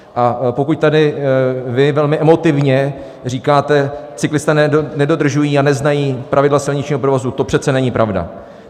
A pokud tady vy velmi emotivně říkáte: Cyklisté nedodržují a neznají pravidla silničního provozu - to přece není pravda!